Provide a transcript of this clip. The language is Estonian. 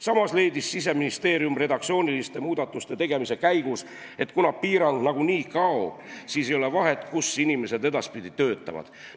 Samas leidis Siseministeerium redaktsiooniliste muudatuste tegemise käigus, et kuna piirang nagunii kaob, siis ei ole vahet, kus inimesed edaspidi töötavad.